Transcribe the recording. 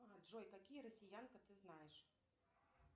джой какие россиянка ты знаешь